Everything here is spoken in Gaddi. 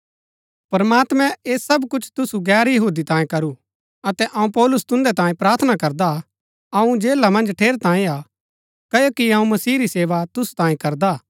प्रमात्मैं ऐह सब कुछ तुसु गैर यहूदी तांये करू अतै अऊँ पौलुस तुन्दै तांये प्रार्थना करदा हा अऊँ जेला मन्ज ठेरैतांये हा क्ओकि अऊँ मसीह री सेवा तुसु तांये करदा हा